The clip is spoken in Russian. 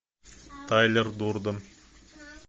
тайлер дерден